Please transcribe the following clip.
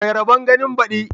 Mai rabon ganin baɗi